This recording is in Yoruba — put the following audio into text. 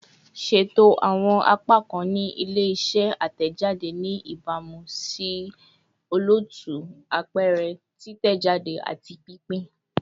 Ṣeto awọn apakan ni ile-iṣẹ atẹjade ni ibamu si olootu, apẹrẹ, titẹjade, ati pinpin